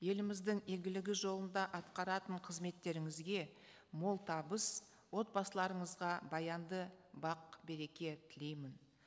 еліміздің игілігі жолында атқаратын қызметтеріңізге мол табыс отбасыларыңызға баянды бақ береке тілеймін